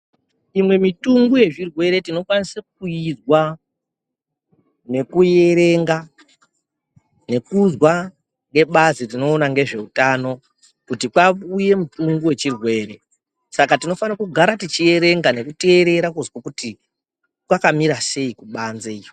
Imwe mutungu yezvirwere tinokwanise kuyizwa nekuyierenga nekuzwa ngebazi rinoona ngezve utano kuti kwauya mitungu yechirwere saka tinofanirwa kutu tigare tichierenga nekuterera kuti kwakamira sei kubanze uko.